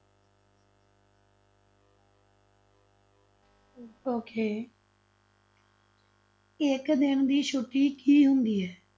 Okay ਇੱਕ ਦਿਨ ਦੀ ਛੁੱਟੀ ਕੀ ਹੁੰਦੀ ਹੈ?